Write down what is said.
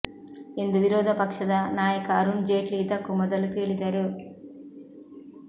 ಎಂದು ವಿರೋಧ ಪಕ್ಷದ ನಾಯಕ ಅರುಣ್ ಜೇಟ್ಲಿ ಇದಕ್ಕೂ ಮೊದಲು ಕೇಳಿದರು